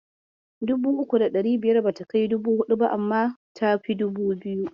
Dubu uku da ɗari biyar bata kai dubu huɗu ba, amma ta fi dubu biyu.